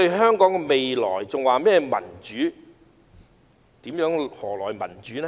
他們還說民主，究竟何來民主呢？